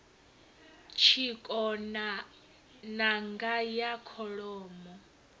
tshikona n anga ya kholomo